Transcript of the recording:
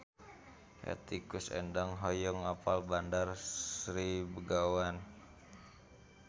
Hetty Koes Endang hoyong apal Bandar Sri Begawan